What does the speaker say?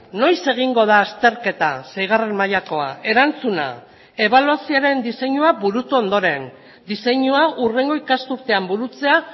noiz egingo da azterketa seigarren mailakoa erantzuna ebaluazioaren diseinua burutu ondoren diseinua hurrengo ikasturtean burutzea